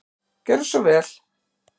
Gjörðu svo vel.